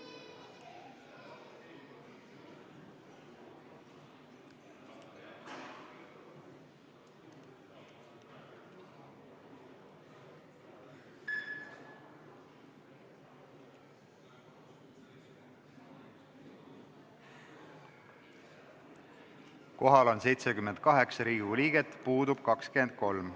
Kohaloleku kontroll Kohal on 78 Riigikogu liiget, puudub 23.